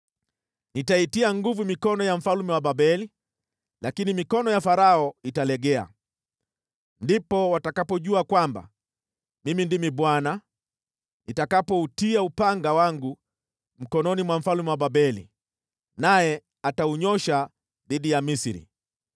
Nitaitia nguvu mikono ya mfalme wa Babeli, lakini mikono ya Farao italegea. Ndipo watakapojua kwamba Mimi ndimi Bwana , nitakapoutia upanga wangu mkononi mwa mfalme wa Babeli, naye ataunyoosha dhidi ya Misri.